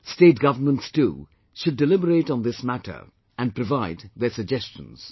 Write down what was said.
State governments too should deliberate on this matter and provide their suggestions